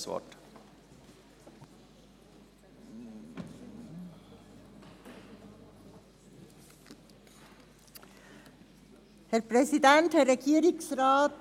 Dafür ist eine Lösung für das Schliessen der Finanzierungslücke vorzulegen unter Einbezug einer Priorisierung der Investitionen.